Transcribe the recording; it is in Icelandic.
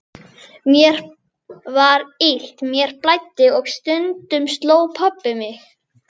Mér var illt, mér blæddi og stundum sló pabbi mig.